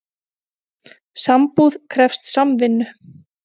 Sambúð krefst samvinnu.